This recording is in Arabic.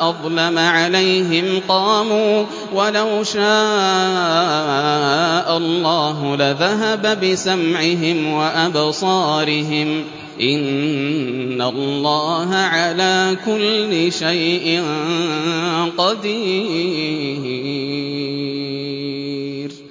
أَظْلَمَ عَلَيْهِمْ قَامُوا ۚ وَلَوْ شَاءَ اللَّهُ لَذَهَبَ بِسَمْعِهِمْ وَأَبْصَارِهِمْ ۚ إِنَّ اللَّهَ عَلَىٰ كُلِّ شَيْءٍ قَدِيرٌ